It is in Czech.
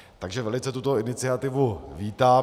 Takže velice tuto iniciativu vítám.